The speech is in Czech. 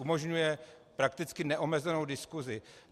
Umožňuje prakticky neomezenou diskusi.